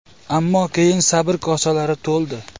Ammo keyin sabr kosalari to‘ldi.